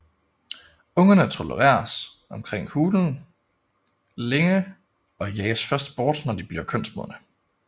Ungerne tolereres omkring hulen længe og jages først bort når de bliver kønsmodne